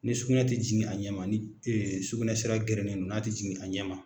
Ni sugunɛ tɛ jigin a ɲɛma ni sugunɛ sira gɛrɛnen don na' tɛ jigin a ɲɛma.